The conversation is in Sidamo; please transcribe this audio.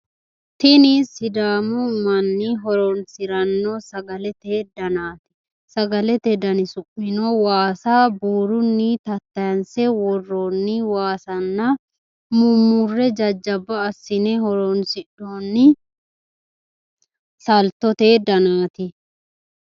tini sidaamu manni horonsiranno sagalete danaati sagalete dani su'mino waasa buurunni tattaayiinse worroonni waasanna mummurre jajjabba assine horonsi'noonni saltote danaati